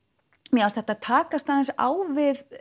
mér fannst þetta takast aðeins á við